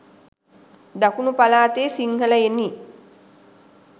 දකුණු පළාතේ සිංහලයනි